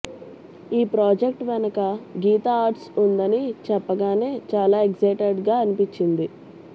ఈ ప్రాజెక్ట్ వెనక గీతా ఆర్ట్స్ ఉందని చెప్పగానే చాలా ఎగ్జైటెడ్గా అనిపించింది